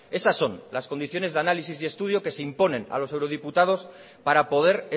esas son las condiciones de análisis y estudio que se imponen a los eurodiputados para poder